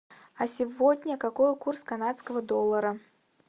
а сегодня какой курс канадского доллара